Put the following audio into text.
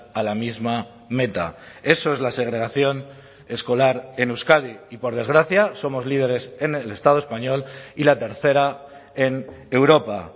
a la misma meta eso es la segregación escolar en euskadi y por desgracia somos líderes en el estado español y la tercera en europa